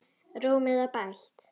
Rúmið var bælt.